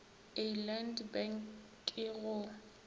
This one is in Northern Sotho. a land bank ke go